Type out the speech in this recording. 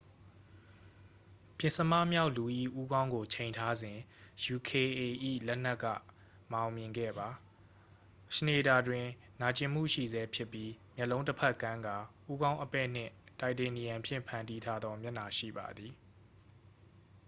ပဥ္စမမြောက်လူ၏ ဦးခေါင်းကို ချိန်ထားစဉ် uka ၏ လက်နက်က မအောင်မြင်ခဲ့ပါ schneider တွင် နာကျင်မှုရှိဆဲဖြစ်ပြီး မျက်လုံးတစ်ဖက်ကန်းကာ ဦးခေါင်း အပဲ့နှင့် တိုက်တေနီယမ်ဖြင့် ဖန်တီးထားသော မျက်နှာ ရှိပါသည်